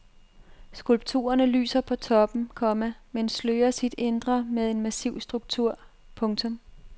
Skulpturerne lysner på toppen, komma men slører sit indre med en massiv struktur. punktum